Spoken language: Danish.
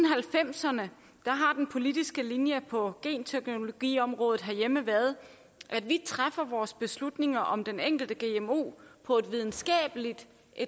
halvfemserne har den politiske linje på genteknologiområdet herhjemme været at vi træffer vores beslutning om den enkelte gmo på et videnskabeligt